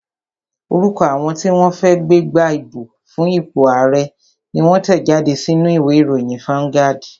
Orúkọ àwọn tí wọ́n fẹ́ gbégbá ìbò fún ipò ààrẹ́ ni wón tẹ̀ jáde sínú u ìwé ìròyìn fáuńgádì